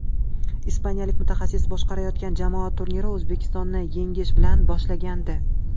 Ispaniyalik mutaxassis boshqarayotgan jamoa turnirni O‘zbekistonni yengish bilan boshlagandi.